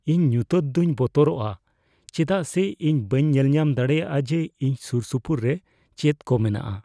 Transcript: ᱤᱧ ᱧᱩᱛᱟᱹᱛ ᱫᱩᱧ ᱵᱚᱛᱚᱨᱟᱜᱼᱟ ᱪᱮᱫᱟᱜ ᱥᱮ ᱤᱧ ᱵᱟᱹᱧ ᱧᱮᱞᱧᱟᱢ ᱫᱟᱲᱮᱭᱟᱜᱼᱟ ᱡᱮ ᱤᱧ ᱥᱩᱨᱼᱥᱩᱯᱩᱨᱮ ᱪᱮᱫ ᱠᱚ ᱢᱮᱱᱟᱜᱼᱟ ᱾